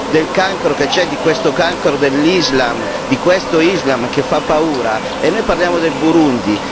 Del cancro che c'è, di questo cancro dell'islam, di questo islam che fa paura, e noi parliamo del Burundi.